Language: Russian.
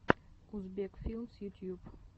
узбек филмс ютьюб